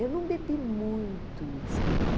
Eu não bebi muito uísque, não.